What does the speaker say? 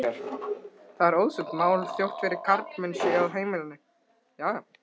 Það er auðsótt mál þótt fjórir karlmenn séu á heimilinu.